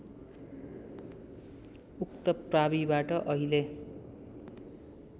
उक्त प्राविबाट अहिले